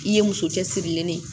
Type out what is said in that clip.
I ye muso cɛsirilen de ye